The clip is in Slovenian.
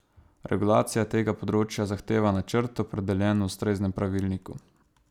Regulacija tega področja zahteva načrt, opredeljen v ustreznem pravilniku.